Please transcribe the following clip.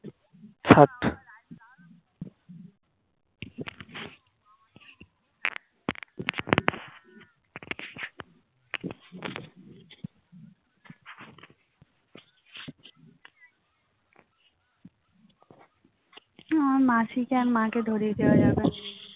আমার মাসিকে আর মাকে ধরিয়ে দেয়া যাবে